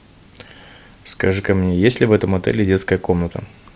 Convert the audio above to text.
скажи ка мне есть ли в этом отеле детская комната